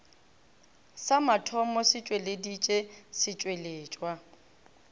sa mathomo se tšweleditše setšweletšwa